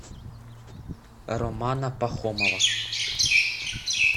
романа пахомова